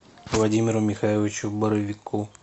владимиру михайловичу боровику